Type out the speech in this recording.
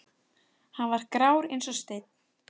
Hann var grár eins og steinn.